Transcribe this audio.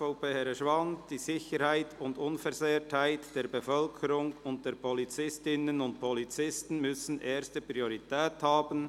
«Die Sicherheit und Unversehrtheit der Bevölkerung und der Polizistinnen und Polizisten mü ssen erste Priorität haben».